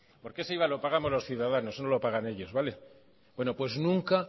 porque ese iva lo pagamos los ciudadanos no lo pagan ellos vale bueno pues nunca